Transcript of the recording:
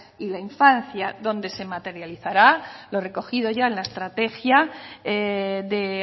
y la infancia donde se materializará lo recogido ya en la estrategia de